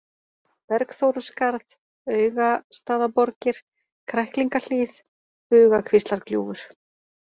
Bergþóruskarð, Augastaðaborgir, Kræklingahlíð, Bugakvíslargljúfur